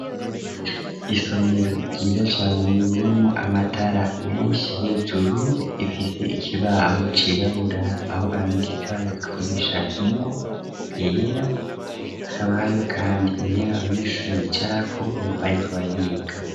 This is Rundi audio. Isomero ryiza cane ririmwo amatara menshi, hejuru rifise ikibaho cirabura, aho bandika bakoresha ingwa yera, hakaba hariyo kandi intebe abanyeshuri bicarako bariko bariga.